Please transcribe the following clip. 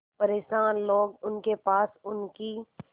परेशान लोग उनके पास उनकी